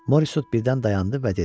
Morisot birdən dayandı və dedi.